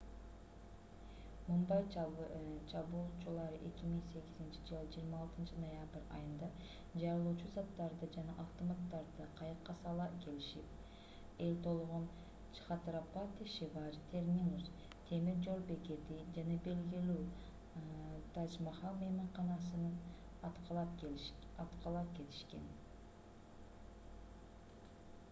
мумбай чабуулчулары 2008-ж 26-ноябрь айында жарылуучу заттарды жана автоматтарды кайыкка сала келишип эл толгон чхатрапати шиважи терминус темир жол бекетин жана белгилүү тадж-махал мейманканасын аткылап кетишкен